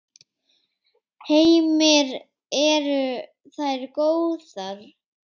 Heimir: Eru þær góðar?